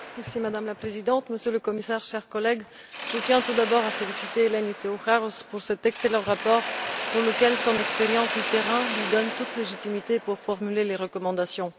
Madame la Présidente, monsieur le Commissaire, chers collègues, je tiens tout d'abord à féliciter Eleni Theocharous pour cet excellent rapport pour lequel son expérience du terrain lui donne toute légitimité pour formuler les recommandations.